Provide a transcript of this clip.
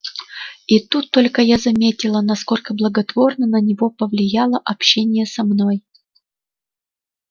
и тут только я заметила насколько благотворно на него повлияло общение со мной